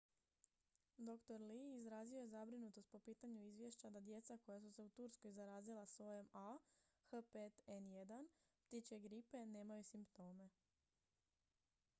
dr. lee izrazio je zabrinutost po pitanju izvješća da djeca koja su se u turskoj zarazila sojem ah5n1 ptičje gripe nemaju simptome